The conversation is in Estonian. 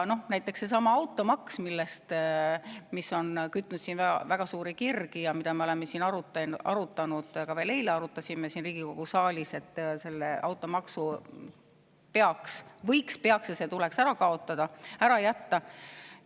Näiteks seesama automaks, mis on kütnud siin väga suuri kirgi ja mida me oleme siin arutanud, ka veel eile arutasime siin Riigikogu saalis, tuleks ära jätta.